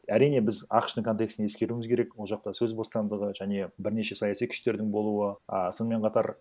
әрине біз ақш тың контекстін ескеруіміз керек ол жақта сөз бостандығы және бірнеше саяси күштердің болуы і сонымен қатар